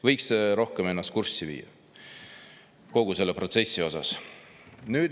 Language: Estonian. Võiks rohkem ennast kurssi viia kogu selle protsessiga.